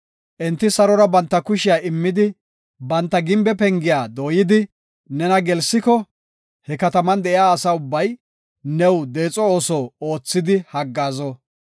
Enti sarora banta kushiya immidi, banta gimbe pengiya dooyidi nena gelsiko, he kataman de7iya asa ubbay new deexo ooso oothidi haggaazo.